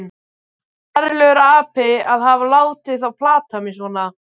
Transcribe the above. Ferlegur api að hafa látið þá plata mig svona.